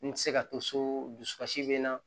N tɛ se ka to so dusukasi bɛ n na